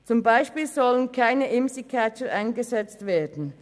Zum Beispiel sollen keine Imsi-Catcher eingesetzt werden.